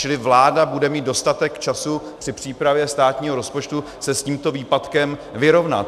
Čili vláda bude mít dostatek času při přípravě státního rozpočtu se s tímto výpadkem vyrovnat.